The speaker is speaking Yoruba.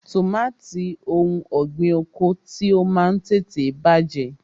Tọmatì òun ọ̀gbín oko ti o Máà ń tètè bàjẹ́.